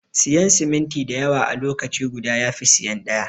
Siyan siminti dayawa a lokaci guda yafi siyan ɗaya.